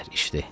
İçdi.